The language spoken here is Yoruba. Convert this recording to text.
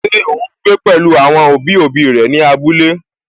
Ṣé ó ún gbé pẹ̀lú àwọn òbí òbí rẹ̀ ní abúlé?